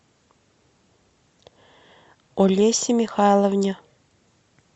олесе михайловне